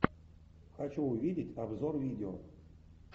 хочу увидеть обзор видео